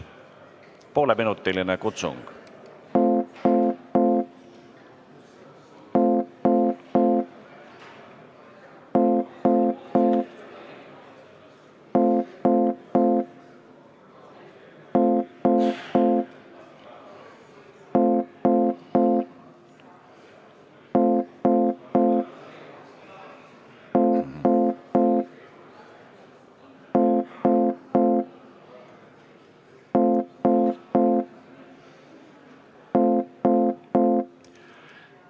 Pooleminutine kutsung.